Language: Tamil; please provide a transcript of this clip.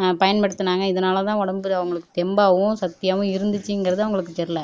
ஆஹ் பயன்படுத்துனாங்க இதனாலதான் உடம்புல அவங்களுக்கு தெம்பாவும் சக்தியாவும் இருந்துச்சுங்கிறது அவங்களுக்கு தெரியல